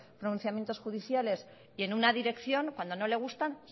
pronunciamientos judiciales en una dirección cuando no le gustan